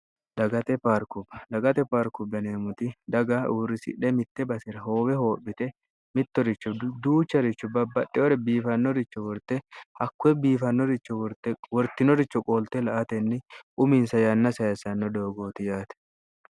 dagate paarkui dagate parku beneemmoti daga uurrisidhe mitte basira hoowe hoophite mittoricho duucharichu babbadhewore biifannoricho worte hakkuye biifannoricho worte wortinoricho qoolte la atenni uminsa yanna sayissanno doogooti yaate